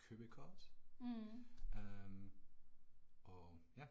købekort øh og ja